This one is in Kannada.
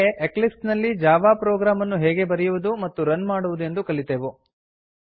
ಹೀಗೆ ಎಕ್ಲಿಪ್ಸ್ ನಲ್ಲಿ ಜಾವಾ ಪ್ರೊಗ್ರಾಮ್ ಅನ್ನು ಹೇಗೆ ಬರೆಯುವುದು ಮತ್ತು ರನ್ ಮಾಡುವುದೆಂದು ಕಲಿತೆವು